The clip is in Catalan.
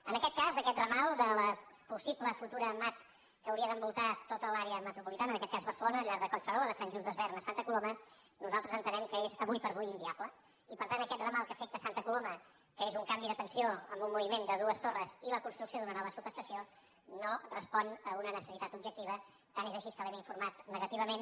en aquest cas aquest ramal de la possible futura mat que hauria d’envoltar tota l’àrea metropolitana en aquest cas barcelona al llarg de collserola de sant just desvern a santa coloma nosaltres entenem que és avui per avui inviable i per tant aquest ramal que afecta santa coloma que és un canvi de tensió amb un moviment de dues torres i la construcció d’una nova subestació no respon a una necessitat objectiva tant és així que l’hem informat negativament